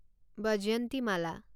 Vyjayanthimala